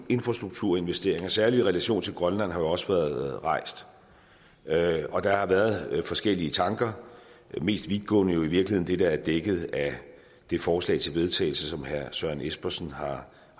og infrastrukturinvesteringer særlig i relation til grønland har jo også været rejst og der har været forskellige tanker det mest vidtgående jo i virkeligheden det der er dækket af det forslag til vedtagelse som herre søren espersen har